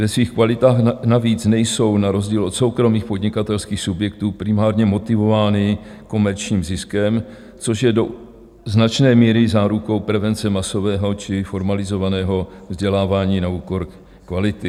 Ve svých kvalitách navíc nejsou na rozdíl od soukromých podnikatelských subjektů primárně motivovány komerčním ziskem, což je do značné míry zárukou prevence masového či formalizovaného vzdělávání na úkor kvality.